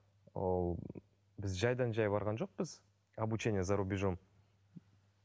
ол біз жайдан жай барған жоқпыз обучение за рубежом